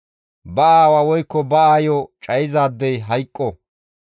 «Ba aawa woykko ba aayo cayizaadey hayqqo.